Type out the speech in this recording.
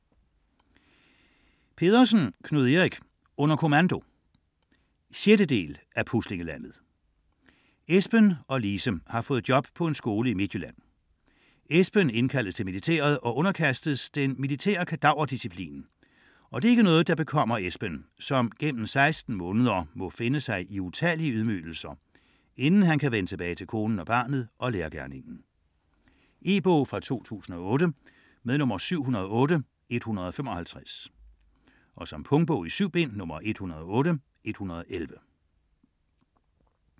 Pedersen, Knud Erik: Under kommando 6. del af Puslinglandet. Esben og Lise har fået job på en skole i Midtjylland. Esben indkaldes til militæret og underkastes den militære kadaverdisciplin, og det er ikke noget der bekommer Esben, som gennem 16 måneder må finde sig i utallige ydmygelser, inden han kan vende tilbage til konen og barnet og lærergerningen. E-bog 708155 2008. Punktbog 108111 2008. 7 bind.